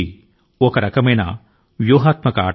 ఇది ఒక రకమైన వ్యూహాత్మాక ఆట